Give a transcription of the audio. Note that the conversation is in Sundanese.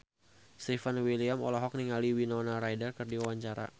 Stefan William olohok ningali Winona Ryder keur diwawancara